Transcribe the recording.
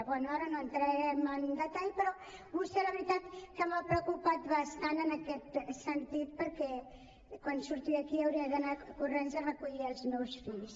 bé ara no entrarem en detall però vostè la veritat és que m’ha preocupat bastant en aquest sentit perquè quan surti d’aquí hauré d’anar corrents a recollir els meus fills